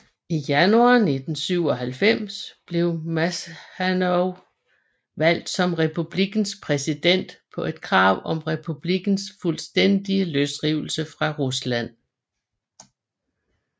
I januar 1997 blev Maskhadov valgt som republikkens præsident på et krav om republikkens fuldstændige løsrivelse fra Rusland